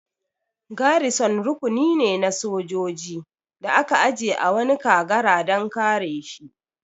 Garison rukuni ne na sojoji da aka aje a wani kagara dan kare shi